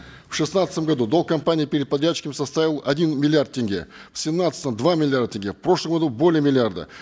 в шестнадцатом году долг компании перед подрядчиками составил один миллиард тенге в семнадцатом два миллиарда тенге в прошлом году более миллиарда